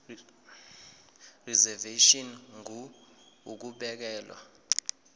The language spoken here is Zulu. reservation ngur ukubekelwa